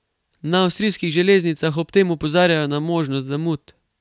Na avstrijskih železnicah ob tem opozarjajo na možnost zamud.